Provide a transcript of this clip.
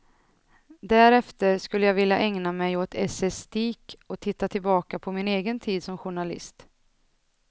Därefter skulle jag vilja ägna mig åt essäistik och titta tillbaka på min egen tid som journalist.